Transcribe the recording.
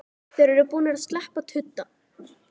Þeir eru búnir að sleppa tudda!